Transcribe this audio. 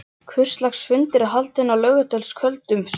Hvurslags fundur er haldinn á laugardagskvöldum? spurði hann fýlulega.